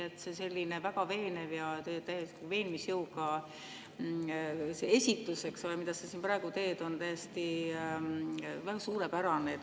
Tõesti, see väga veenev ja veenmisjõuga esitus, mida sa praegu teed, on suurepärane.